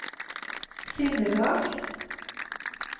sinnelag